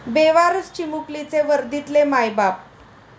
बेवारस चिमुकलीचे वर्दीतले 'मायबाप'!